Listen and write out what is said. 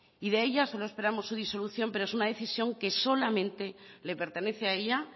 y de ello solo esperamos su disolución pero es una decisión que solamente le pertenece a ella